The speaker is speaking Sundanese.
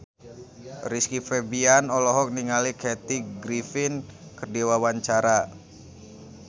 Rizky Febian olohok ningali Kathy Griffin keur diwawancara